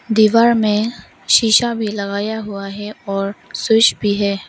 दीवार में शीशा भी लगाया हुआ है और स्विच भी है।